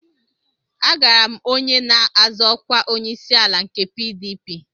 Agara m onye na-azọ ọkwa onyeisiala nke PDP